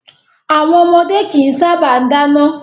Àwọn ọmọdé kìí sábà dáná.